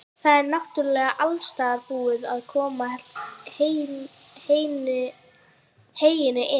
Það er náttúrlega alstaðar búið að koma heyinu inn?